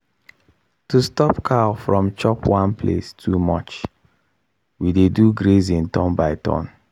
to stop cow from chop one place too much we dey do grazing turn by turn.